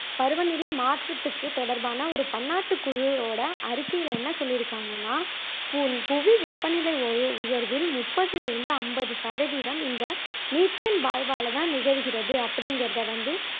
பருவநிலை மாற்றத்துக்கு தொடர்பான ஒரு பன்னாட்டுக் குழுவோட வறிக்கையில என்ன சொல்லியிருக்காங்கன்னா புவி வெப்பநிலை உய உயர்வில் முப்பதில் இருந்து ஐம்பது சதவீதம் இந்த மீத்தேன் வாயுவால தான் நிகழ்கிறது அப்படிங்குறதை வந்து